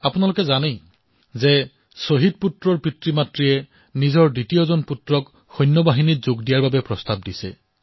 আপোনালোকে দেখিছে যে যাৰ এজন পুত্ৰ শ্বহীদ হৈছে তেওঁলোকৰ পৰিয়ালে আনজন পুত্ৰকো সেনালৈ প্ৰেৰণ কৰাৰ কথা কৈছে